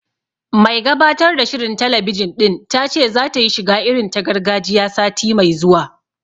Mai gabatar da shirin talabijin ɗin ta ce zata yi shiga irin ta gargajiya, sati mai zuwa